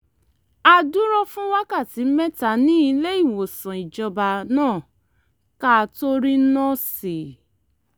a dúró fún wákàtí mẹ́ta ní ilé-ìwòsàn ìjọba náà ká tó rí nọ́ọ̀sì